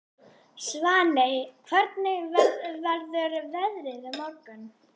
Svaney, hvernig verður veðrið á morgun?